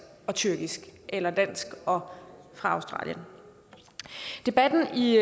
og tyrkisk eller dansk og fra australien debatten i